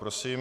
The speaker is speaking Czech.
Prosím.